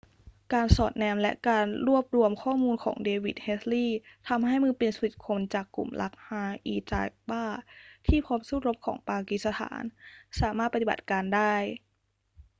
การสอดแนมและการรวบรวมข้อมูลของเดวิด เฮดลีย์ทำให้มือปืน 10 คนจากกลุ่ม laskhar-e-taiba ที่พร้อมสู้รบของปากีสถานสามารถปฏิบัติการได้